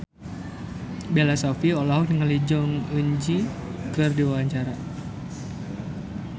Bella Shofie olohok ningali Jong Eun Ji keur diwawancara